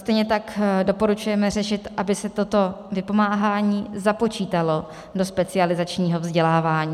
Stejně tak doporučujeme řešit, aby se toto vypomáhání započítalo do specializačního vzdělávání.